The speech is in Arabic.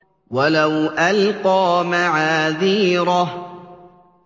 وَلَوْ أَلْقَىٰ مَعَاذِيرَهُ